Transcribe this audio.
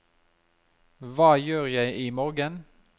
hva gjør jeg imorgen